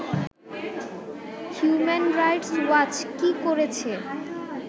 human rights watch কী করেছে